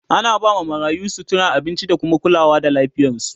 ana ba ma marayu, sutura, abinci da kuma kulawa da lafiyarsu